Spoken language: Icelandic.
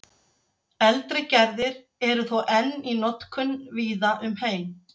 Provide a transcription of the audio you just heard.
eldri gerðir eru þó enn í notkun víða um heim